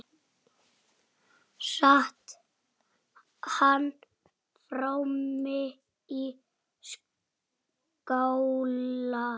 Sat hann frammi í skála.